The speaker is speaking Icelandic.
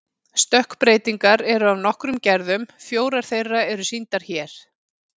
Stökkbreytingar eru af nokkrum gerðum, fjórar þeirra eru sýndar hér.